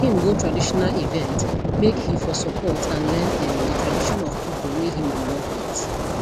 him go traditional event make he for support and learn um the tradition of people whey him dey work with